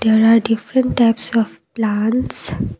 there are different types of plants.